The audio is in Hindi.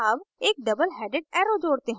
add एक double headed arrow जोड़ते हैं